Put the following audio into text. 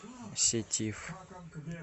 сетиф